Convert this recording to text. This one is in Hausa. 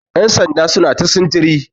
yansanda suna ta sintiri